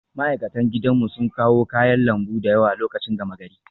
Ma'aikatan gidanmu sun kawo kayan lambu da yawa lokacin gama gari